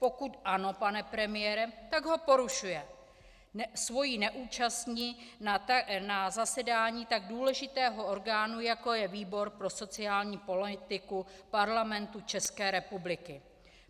Pokud ano, pane premiére, tak ho porušuje svou neúčastí na zasedání tak důležitého orgánu, jako je výbor pro sociální politiku Parlamentu České republiky.